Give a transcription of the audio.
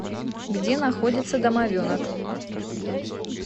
где находится домовенок